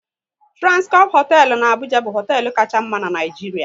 Transcorp hoteelu n'Abuja bụ hoteelu Kacha mma n'Naijiria